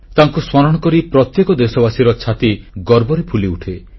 ତାଙ୍କୁ ସ୍ମରଣ କରି ପ୍ରତ୍ୟେକ ଦେଶବାସୀର ଛାତି ଗର୍ବରେ ଫୁଲିଉଠେ